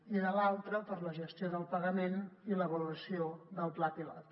i de l’altra per a la gestió del pagament i l’avaluació del pla pilot